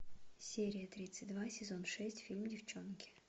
серия тридцать два сезон шесть фильм девчонки